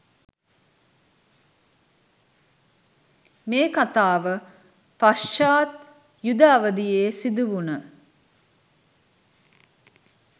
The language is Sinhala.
මේ කතාව පශ්චාත් යුධ අවධියේ සිදුවුන